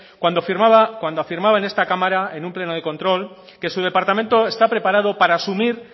cuando afirmaba en esta cámara en un pleno de control que su departamento está preparado para asumir